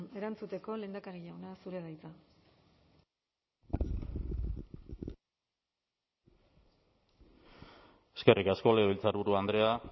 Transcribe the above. erantzuteko lehendakari jauna zurea da hitza eskerrik asko legebiltzarburu andrea